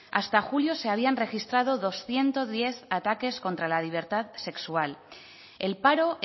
hasta julio se habían registrado doscientos diez ataques contra la libertad sexual el paro